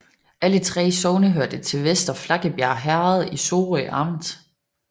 Alle 3 sogne hørte til Vester Flakkebjerg Herred i Sorø Amt